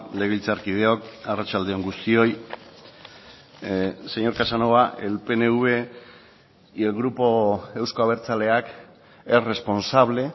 legebiltzarkideok arratsalde on guztioi señor casanova el pnv y el grupo euzko abertzaleak es responsable